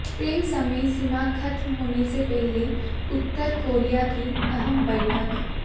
तय समय सीमा खत्म होने से पहले उत्तर कोरिया की अहम बैठक